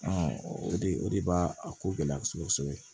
o de o de b'a a ko gɛlɛya kosɛbɛ kosɛbɛ